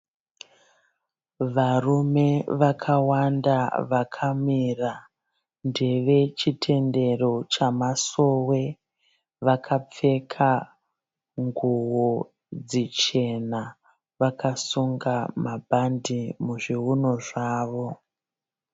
Varume vakawanda vakamira lNdevechitendero chamasove vakapfeka nguwo dzichena vakasunga mabhadhi muzviuno zvavo.